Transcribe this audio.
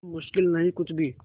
अब मुश्किल नहीं कुछ भी